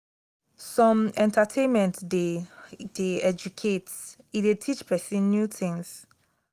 some entertainment de dey educative e de teach persin new things